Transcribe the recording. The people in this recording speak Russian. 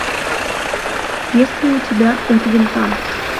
есть ли у тебя от винта